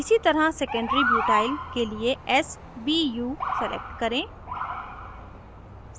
इसी तरह secondary butyl के लिए sbu select करें